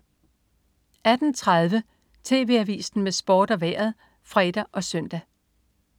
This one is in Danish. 18.30 TV Avisen med Sport og Vejret (fre og søn)